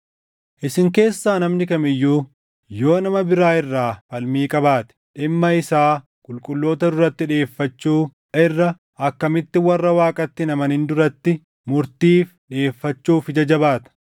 Isin keessaa namni kam iyyuu yoo nama biraa irraa falmii qabaate, dhimma isaa qulqulloota duratti dhiʼeeffachuu irra akkamitti warra Waaqatti hin amanin duratti murtiif dhiʼeeffachuuf ija jabaata?